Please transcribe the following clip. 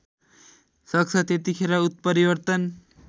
सक्छ त्यतिखेर उत्परिवर्तन